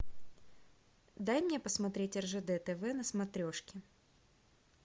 дай мне посмотреть ржд тв на смотрешке